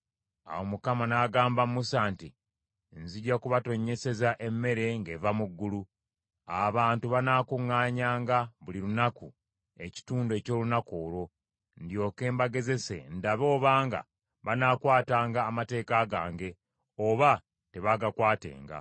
Awo Mukama n’agamba Musa nti, “Nzija kubatonnyeseza emmere ng’eva mu ggulu. Abantu banaakuŋŋaanyanga buli lunaku ekitundu eky’olunaku olwo; ndyoke mbagezese ndabe obanga banaakwatanga amateeka gange, oba tebaagakwatenga.